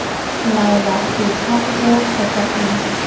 laola setsha seo kgotsa ii